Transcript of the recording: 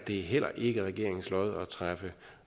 det heller ikke i regeringens lod at træffe